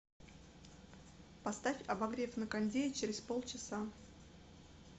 поставь обогрев на кондее через полчаса